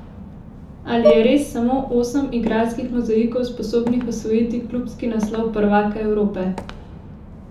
Ali je res samo osem igralskih mozaikov sposobnih osvojiti klubski naslov prvaka Evrope?